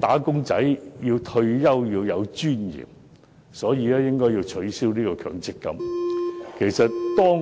打工仔"退休要有尊嚴，所以應取消強積金對沖安排。